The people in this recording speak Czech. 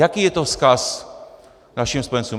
Jaký je to vzkaz našim spojencům?